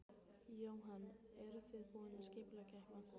Jóhann: Eruð þið búin að skipuleggja eitthvað?